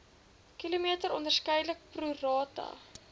km onderskeidelik prorata